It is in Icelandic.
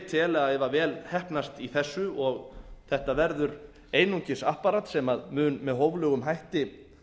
tel að ef vel heppnast í þessu og þetta verður einungis apparat sem mun með hóflegum hætti